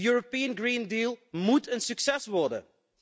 De European Green Deal moet een succes worden!